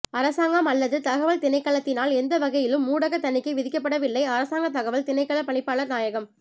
அரசாங்கம் அல்லது தகவல் திணைக்களத்தினால் எந்தவகையிலும் ஊடக தணிக்கை விதிக்கப்பட்வில்லை அரசாங்க தகவல் திணைக்கள பணிப்பாளர் நாயகம்